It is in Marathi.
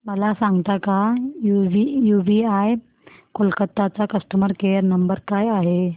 मला सांगता का यूबीआय कोलकता चा कस्टमर केयर नंबर काय आहे